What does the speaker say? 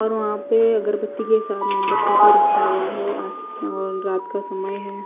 और वहा पे अगरबती के साथ मोमबत्ती भी रखा हुआ है और रात का समय है।